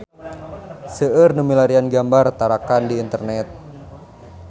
Seueur nu milarian gambar Tarakan di internet